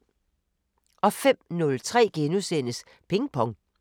05:03: Ping Pong *